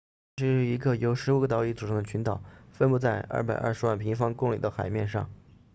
它是一个由15个岛屿组成的群岛分布在220万平方公里的海面上